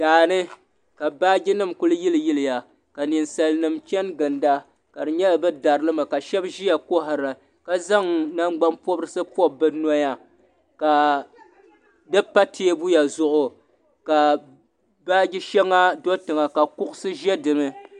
Daa ni ka baajinima kuli yiliyiliya ka Ninsalinima chani ginda ka di nyɛla bɛ dari li mi ka shɛba ʒiya kɔhira ka zaŋ nangbanpɔbirisi pɔbi bɛ noya ka di pa teebuya zuɣu ka baaji shɛŋa do tiŋa ka kuɣusi ʒe di ni.